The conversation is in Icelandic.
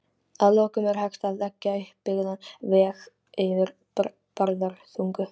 Að lokum: Er hægt að leggja uppbyggðan veg yfir Bárðarbungu?